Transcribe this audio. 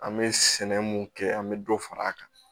An bɛ sɛnɛ mun kɛ an bɛ dɔ far'a kan